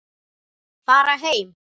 Fara heim.